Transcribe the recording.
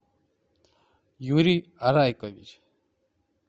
юрий арайкович